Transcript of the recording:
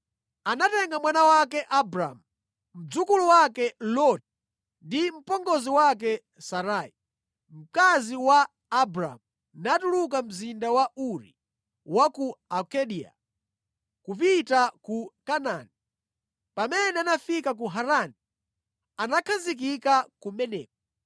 Tera anatenga mwana wake Abramu, mdzukulu wake Loti, ndi mpongozi wake Sarai, mkazi wa Abramu natuluka mzinda wa Uri wa ku Akaldeya kupita ku Kanaani. Pamene anafika ku Harani, anakhazikika kumeneko.